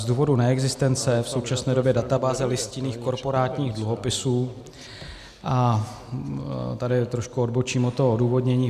Z důvodu neexistence v současné době databáze listinných korporátních dluhopisů - a tady trošku odbočím od toho odůvodnění.